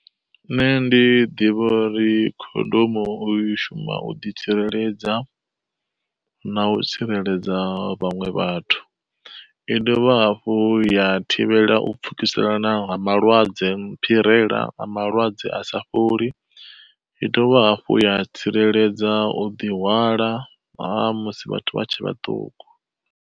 Nṋe ndi ḓivha uri khondomu u i shumisa u ḓi tsireledza na u tsireledza vhaṅwe vhathu, i dovha hafhu ya thivhela u pfhukiselana nga malwadze a phirela a malwadze a sa fholi. I dovha hafhu ya tsireledza u ḓi hwala ha musi vhathu vha tshe vhaṱuku.